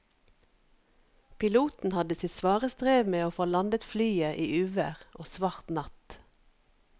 Piloten hadde sitt svare strev med å få landet flyet i uvær og svart natt.